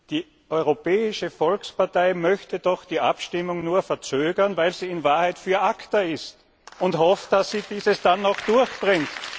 Die Europäische Volkspartei möchte doch die Abstimmung nur verzögern, weil sie in Wahrheit für ACTA ist und hofft, dass sie dies dann auch durchbringt.